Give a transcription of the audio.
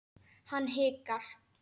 Hann hikar.